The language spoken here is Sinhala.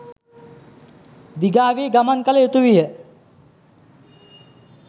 දිගාවී ගමන් කළ යුතුවිය